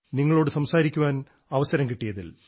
നിങ്ങളോട് സംസാരിക്കാൻ അവസരം കിട്ടിയതിൽ